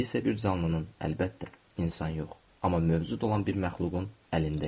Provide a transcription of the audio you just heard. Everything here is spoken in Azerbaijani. İndi isə bir canlının, əlbəttə, insan yox, amma mövcud olan bir məxluqun əlindəyəm.